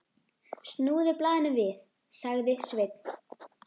Snúðu blaðinu við, sagði Sveinn.